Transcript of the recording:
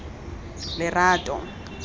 lerato